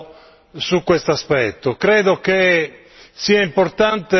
Voglio fare una riflessione, però, su questo aspetto.